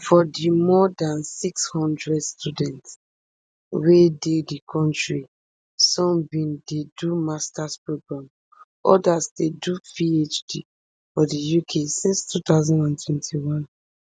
for di more dan six hundred students wey dey di kontri some bin dey do masters programme odas dey do phd for di uk since two thousand and twenty-one